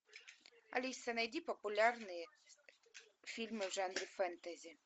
алиса найди популярные фильмы в жанре фэнтези